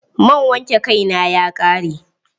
Man wanke kai na ya ƙare.